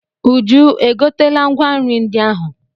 Uju e gotela ngwa nri ndị ahụ?